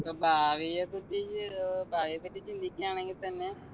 ഭാവിയെ പറ്റി ഏർ ഭാവിയെ പറ്റി ചിന്തിക്കുകയാണെങ്കി തന്നെ